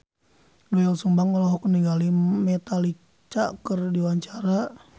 Doel Sumbang olohok ningali Metallica keur diwawancara